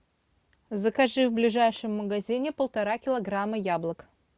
закажи в ближайшем магазине полтора килограмма яблок